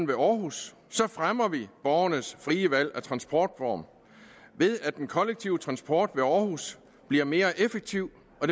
ved aarhus fremmer vi borgernes frie valg af transportform ved at den kollektive transport ved aarhus bliver mere effektiv og